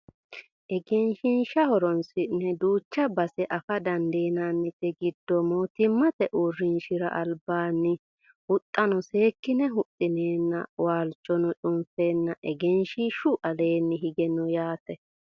egenshiishsha horonsi'ne duucha base afa dandiinannite giddo mootimmate uurrinshara albaanni huxxanno seekkine huxxineenna waalchono cunfeenna egenshiishshu alaanni hige no yaate